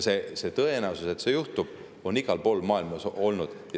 Tõenäosus, et see juhtub, on igal pool maailmas olnud.